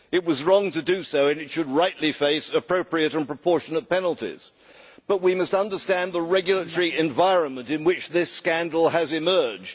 It was wrong to do so, and it should rightly face appropriate and proportionate penalties, but we must understand the regulatory environment in which this scandal has emerged.